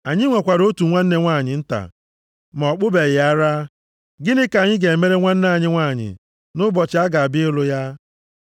Anyị nwekwara otu nwanne nwanyị nta ma ọ kpụbeghị ara. Gịnị ka anyị ga-emere nwanne anyị nwanyị, nʼụbọchị a ga-abịa ịlụ ya?